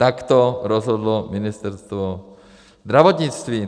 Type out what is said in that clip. Tak to rozhodlo Ministerstvo zdravotnictví.